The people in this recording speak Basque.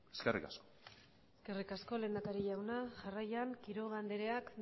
eskerrik asko eskerrik asko lehendakari jauna jarraian quiroga andreak